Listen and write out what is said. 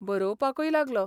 बरोवपाकय लागलो.